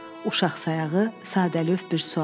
Uşaqsayağı sadəlövh bir sual.